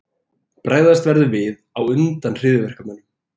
Bregðast verður við á undan hryðjuverkamönnum